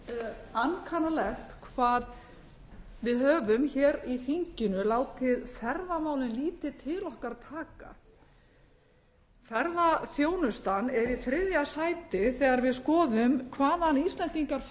mjög ankannalegt hvað við höfum hér í þinginu látið ferðamálin lítið til okkar taka ferðaþjónustan er í þriðja sæti þegar við skoðum hvaðan íslendingar